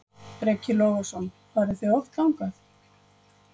Breki Logason: Farið þið oft þangað?